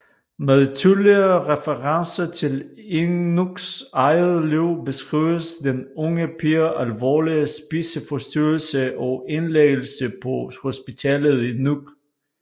Med tydelige referencer til Inuks eget liv beskrives den unge piges alvorlige spiseforstyrrelse og indlæggelse på hospitalet i Nuuk